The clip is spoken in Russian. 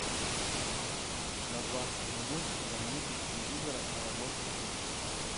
на двадцать минут замьютить телевизора на рабочем месте